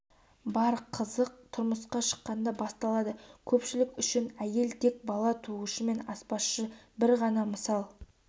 бар қызық тұрмысқа шыққанда басталады көпшілік үшін әйел тек бала туушы мен аспазшы бір ғана мысал